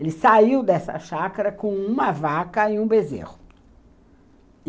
Ele saiu dessa chácara com uma vaca e um bezerro.